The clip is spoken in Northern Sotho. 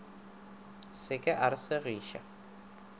se ke a re segiša